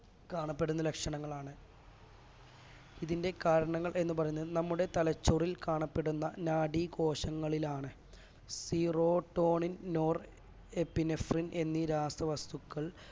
കാണപ്പെടുന്ന ലക്ഷണങ്ങളാണ് ഇതിന്റെ കാരണങ്ങൾ എന്ന് പറയുന്നത് നമ്മുടെ തലച്ചോറിൽ കാണപ്പെടുന്ന നാഡി കോശങ്ങളിലാണ് serotonin nor epinephrine എന്നീ രാസവസ്തുക്കൾ